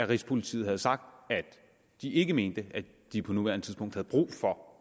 rigspolitiet havde sagt at de ikke mente at de på nuværende tidspunkt havde brug for